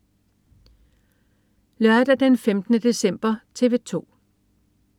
Lørdag den 15. december - TV 2: